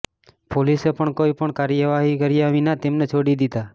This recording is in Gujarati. પોલીસે પણ કોઈ પણ કાર્યવાહી કર્યા વિના તેમને છોડી દીધા